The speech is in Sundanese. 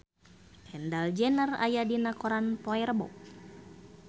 Kendall Jenner aya dina koran poe Rebo